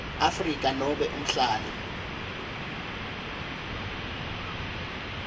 afrika nobe umhlali